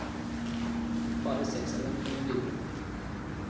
Bare seks av dem kommer videre.